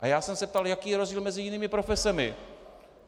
A já jsem se ptal, jaký je rozdíl mezi jinými profesemi.